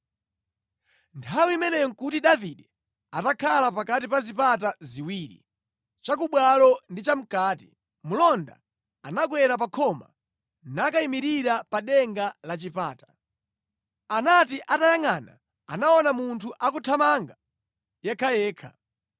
Nthawi imeneyo nʼkuti Davide atakhala pakati pa zipata ziwiri, chakubwalo ndi chamʼkati. Mlonda anakwera pa khoma nakayimirira pa denga la chipata. Anati atayangʼana, anaona munthu akuthamanga yekhayekha.